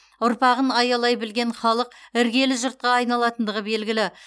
ұрпағын аялай білген халық іргелі жұртқа айналатындығы белгілі